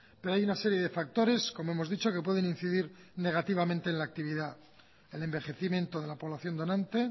pero hay una serie de factores como hemos dicho que pueden incidir negativamente en la actividad el envejecimiento de la población donante